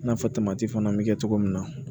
I n'a fɔ fana bɛ kɛ cogo min na